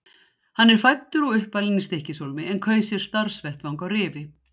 Hann er fæddur og uppalinn í Stykkishólmi en kaus sér starfsvettvang á Rifi.